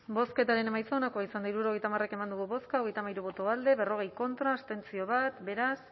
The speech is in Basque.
bozketaren emaitza onako izan da hirurogeita hamar eman dugu bozka berrogei contra bat abstentzio beraz